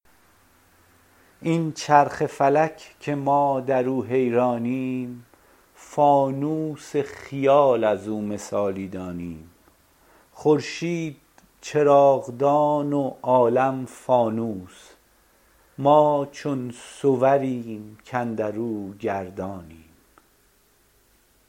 این چرخ فلک که ما در او حیرانیم فانوس خیال از او مثالی دانیم خورشید چراغدان و عالم فانوس ما چون صوریم کاندر او گردانیم